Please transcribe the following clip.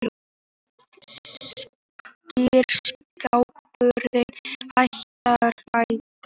Skýr skilaboð Hæstaréttar